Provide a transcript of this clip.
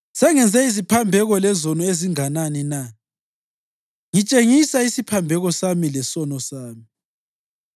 Sengenze iziphambeko lezono ezinganani na? Ngitshengisa isiphambeko sami lesono sami.